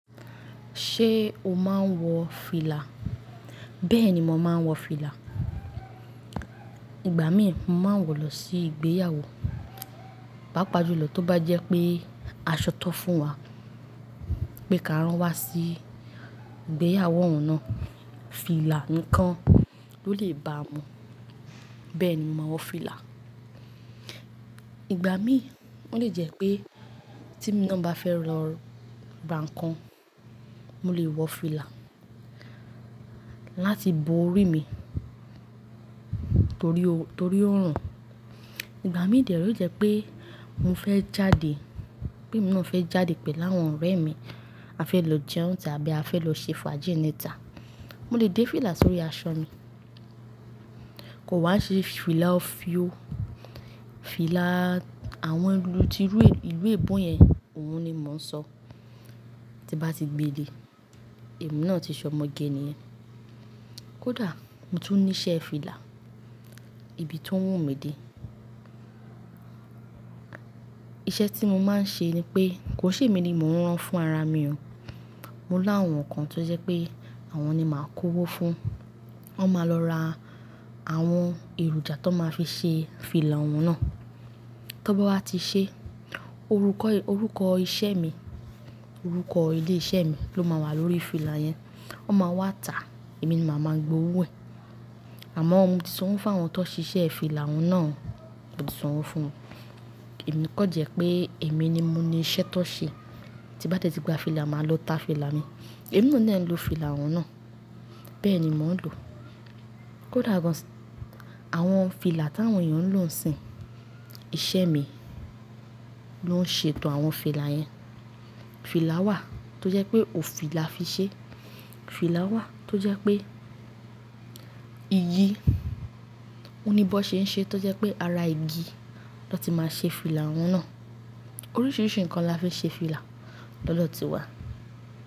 Ṣé o máa ń wọ fìlà? Bẹ́ẹ̀ ni mo máa ń wọ fìlà. Ìgbà mí, mo máa ń wọ̀ lọ sí ìgbéyàwó, pápàjùlọ tó bá jẹ́ pé aṣọ ta n fún wa pé ká rán wa sí ìgbéyàwó ọ̀un náà, fìlà nìkan ló lè bá mu. Bẹ́ẹ̀ ni mo máa wọ fìlà. Ìgbà mí, ó lè jẹ́ pé temí náà bá fẹ́ lọ ra nǹkan, mo lè wọ fìlà láti bo orí mi torí o torí ọ̀run. Ìgbà mí dè rẹ́, ó lè jẹ́ pé mo fẹ́ jáde, pé mí náà fẹ́ jáde pẹ̀lú àwọn ọ̀rẹ́ mi, a fẹ́ lọ jẹun n tà tabí a fẹ́ lọ ṣe faaji nítà, mo lè dé fìlà sórí aṣọ mi. Kò wa n ṣe fìlà òfíò, fìlà àwọn ìlú tirú ìlú èbo yẹn òun ni mò ń sọ, tí n bá ti gbe le, èmi náà ti sọ ọmọge nìyẹn. Kódà mo tún ní iṣẹ́ fìlà, ibi tó wù mí de. Iṣẹ́ tí mo máa ń ṣe ni pé kò ṣe mi ni mò ń rán fún ara mi o. Mo láwọn kan tó jẹ́ pé àwọn ni màá kówó fún, wọ́n máa lọ ra àwọn èròjà tó máa fi ṣe fìlà òun náà. Tó bá wá ti ṣe, orúkọ orúkọ iṣẹ́ mi, orúkọ ilé iṣẹ́ mi ló máa wà lórí fìlà yẹn. Wọ́n máa wá tà, èmi ni màá máa gba owó ẹ̀. Àmọ́ ò moti sanwò fáwọn tó ṣe iṣẹ́ fìlà òun náà, mòti sí sanwo fún wan. Èmi kanjẹ́ pé èmi ni mo ní iṣẹ́ tó ṣe, tí bá tẹ́tí gba fìlà, màá lọ ta fìlà mi. Èmi náà dẹ̀ ń lo fìlà òun náà. Bẹ́ẹ̀ ni mò ń lò. Kódà gan-an àwọn fìlà tí àwọn èèyàn ń lò ń sìn, iṣẹ́ mi ló ń ṣètò àwọn fìlà yẹn. Fìlà wà tó jẹ́ pé òfì là fi ṣe, fìlà wà tó jẹ́ pé igi, oníbọ́ ṣe ń ṣe tó jẹ́ pé ara igi ló ti máa ṣe fìlà òun náà. Oríṣiríṣi nǹkan la fi n ṣe fìlà lọ́dọ́ ti wà.